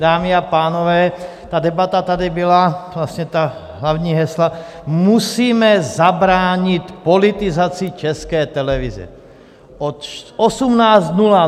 Dámy a pánové, ta debata tady byla, vlastně ta hlavní hesla: musíme zabránit politizaci České televize.